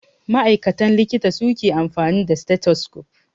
Ma'aikatan likita suke amfani da stethoscope.